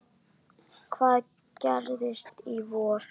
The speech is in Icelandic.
Hvað gerist í vor?